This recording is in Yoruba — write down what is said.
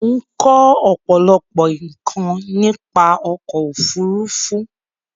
Mo n ko òpòlopò nkàn nípa ọkò òfurufú